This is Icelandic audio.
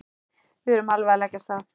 Við erum alveg að leggja af stað.